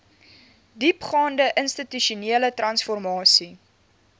diepgaande institusionele transformasie